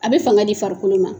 A bɛ fanga di farikolo ma